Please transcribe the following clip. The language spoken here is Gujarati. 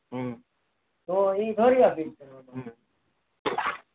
હમ તો એ દોડી આપીશ